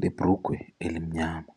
lebhulugwe elimnyama.